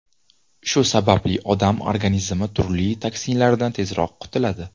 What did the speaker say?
Shu sababli odam organizmi turli toksinlardan tezroq qutiladi.